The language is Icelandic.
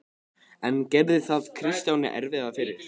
En gerði það Kristjáni erfiðara fyrir?